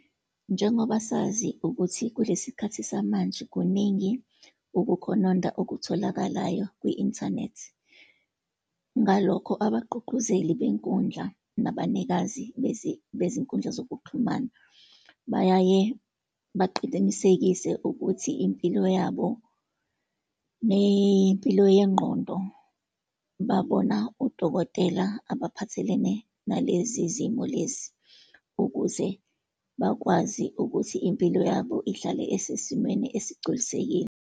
Njengoba sazi ukuthi kulesi khathi samanje, kuningi ukukhononda okutholakalayo kwi-inthanethi. Ngalokho abaququzeli benkundla nabanikazi bezinkundla zokuxhumana bayaye baqinisekise ukuthi impilo yabo, ney'mpilo yengqondo, babona udokotela abaphathelene nalezi zimo lezi, ukuze bakwazi ukuthi impilo yabo ihlale esesimeni esigculisekile.